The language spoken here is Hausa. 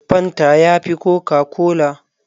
Fanta ya fi kokakola.